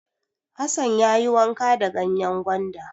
Hassan ya yi wanka da ganyen gwanda.